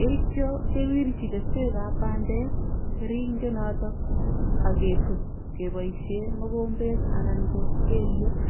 yeityo kewirchi kesweekab bandek keringenotok ak ketup keboisie mokombet anan ko kelyek.